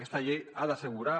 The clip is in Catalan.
aquesta llei ha d’assegurar